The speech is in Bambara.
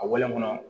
A wale kɔnɔ